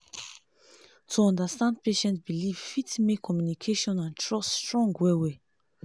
to understand patient belief fit make communication and trust strong well well